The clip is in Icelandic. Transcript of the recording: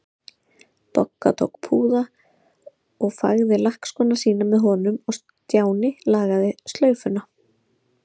Bogga tók púða og fægði lakkskóna sína með honum og Stjáni lagaði slaufuna.